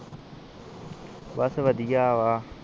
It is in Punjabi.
ਬਸ ਵਧੀਆ ਵਾ